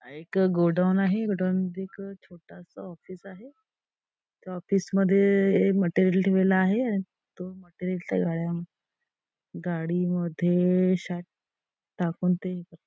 एक गोडाउन आहे. गोडाउन मध्ये एक छोटासा ऑफिस आहे. त्या ऑफिस मध्ये मटेरियल ठेवायला आहे आणि तो मटेरियल च्या गाड्या गाडी मध्ये शायद टाकून ते--